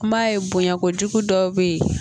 N m'a ye bonya kojugu dɔw bɛ yen